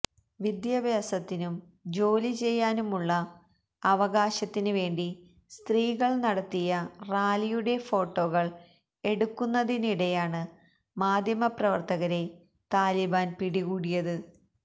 വിദ്യാഭ്യാസത്തിനും ജോലി ചെയ്യാനും ഉള്ള അവകാശത്തിന് വേണ്ടി സ്ത്രീകൾ നടത്തിയ റാലിയുടെ ഫോട്ടോകൾ എടുക്കുന്നതിനിടെയാണ് മാധ്യമ പ്രവർത്തകരെ താലിബാൻ പിടികൂടിയത്